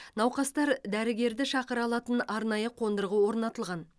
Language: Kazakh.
науқастар дәрігерді шақыра алатын арнайы қондырғы орнатылған